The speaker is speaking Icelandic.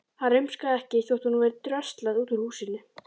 Hann rumskaði ekki þótt honum væri dröslað út úr húsinu.